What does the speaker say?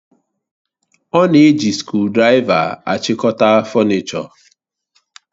Ọ na-eji skrụdiraiva achịkọta fọnichọ.